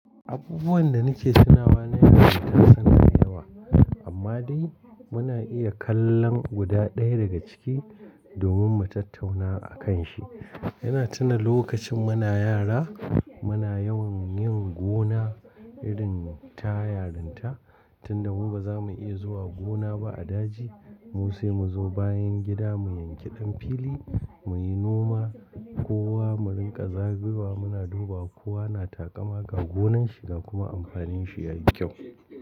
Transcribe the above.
Abubuwan da nake tunawa na yara ita suna da yawa, amma dai muna iya kallon guda ɗaya daga ciki domin mu tattauna a kan shi. Yana tuna lokacin muna yara muna yawan yin gona irin ta yarinta, tunda mu baza mu iya zuwa gona ba a daji musa mu zo bayan gida mu yanki ɗan fili muyi noma, kowa mu rinƙa zagayowa muna duba kowa na taƙamaka ga gonanshi ga kuma amfanin shi yayi kyau.